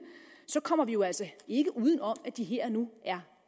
så kommer vi jo altså ikke uden om at de her og nu er